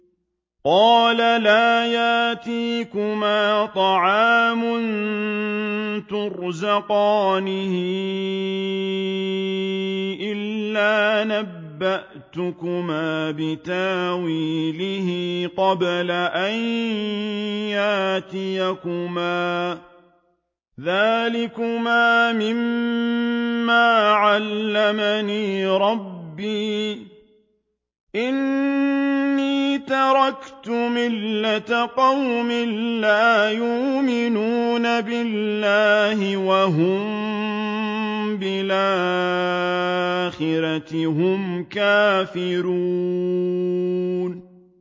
قَالَ لَا يَأْتِيكُمَا طَعَامٌ تُرْزَقَانِهِ إِلَّا نَبَّأْتُكُمَا بِتَأْوِيلِهِ قَبْلَ أَن يَأْتِيَكُمَا ۚ ذَٰلِكُمَا مِمَّا عَلَّمَنِي رَبِّي ۚ إِنِّي تَرَكْتُ مِلَّةَ قَوْمٍ لَّا يُؤْمِنُونَ بِاللَّهِ وَهُم بِالْآخِرَةِ هُمْ كَافِرُونَ